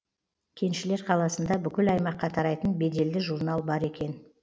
кеншілер қаласында бүкіл аймаққа тарайтын беделді журнал бар екен